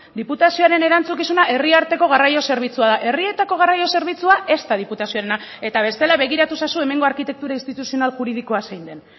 diputazioaren erantzukizuna herri arteko garraio zerbitzua da herrietako garraio zerbitzua ez da diputazioarena eta bestela begiratu ezazu hemengo arkitektura instituzional juridikoa zein den